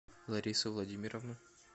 ларису владимировну